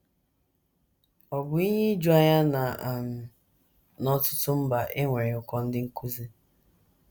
Ọ̀ bụ ihe ijuanya na um n’ọtụtụ mba e nwere ụkọ ndị nkụzi?